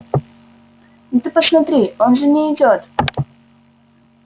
ну ты посмотри он же не идёт